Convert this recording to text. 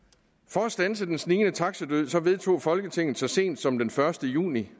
for at standse den snigende taxadød vedtog folketinget så sent som den første juni